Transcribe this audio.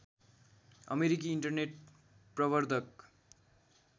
अमेरिकी इन्टरनेट प्रबर्धक